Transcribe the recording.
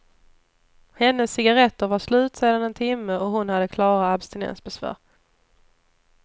Hennes cigarretter var slut sedan en timme och hon hade klara abstinensbesvär.